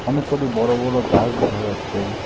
অনেক কটি বড় বড় গাস দেখা যাচ্ছে।